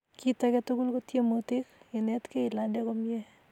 Kit age tugul ko tiemutik, inetkei ilande komie